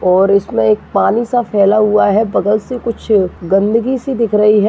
और इसमे पानी सा फैला हुआ है बगल से कुछ गंदगी सी दिख रही है।